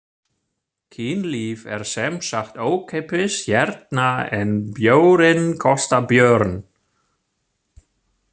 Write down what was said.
Kynlíf er semsagt ókeypis hérna en bjórinn kostar björn.